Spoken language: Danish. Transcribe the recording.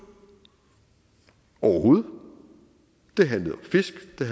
overhovedet det handlede om fisk det